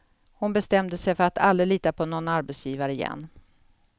Hon bestämde sig för att aldrig lita på någon arbetsgivare igen.